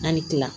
An ni kila